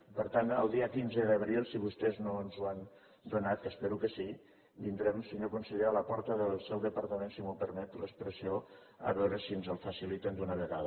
i per tant el dia quinze d’abril si vostès no ens ho han donat que espero que sí vindrem senyor conseller a la porta del seu departament si em permet l’expressió a veure si ens el faciliten d’una vegada